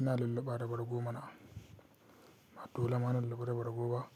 Ina lulluɓa da bargo mana, ba dole ma na lulluɓa da bargo ba?